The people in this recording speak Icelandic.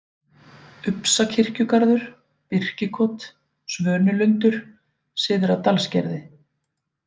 Upsakirkjugarður, Birkikot, Svönulundur, Syðra-Dalsgerði